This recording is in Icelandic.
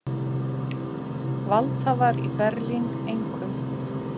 Valdhafar í Berlín, einkum